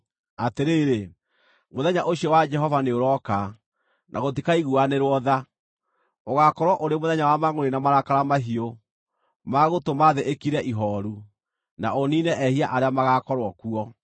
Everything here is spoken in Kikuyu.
Atĩrĩrĩ, mũthenya ũcio wa Jehova nĩũrooka, na gũtikaiguanĩrwo tha; ũgaakorwo ũrĩ mũthenya wa mangʼũrĩ na marakara mahiũ, ma gũtũma thĩ ĩkire ihooru, na ũniine ehia arĩa magaakorwo kuo.